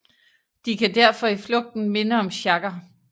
De kan derfor i flugten minde om sjagger